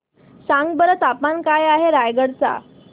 सांगा बरं तापमान काय आहे रायगडा चे